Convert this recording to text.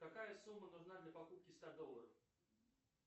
какая сумма нужна для покупки ста долларов